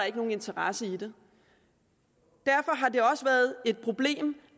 ikke nogen interesse i det derfor har det også været et problem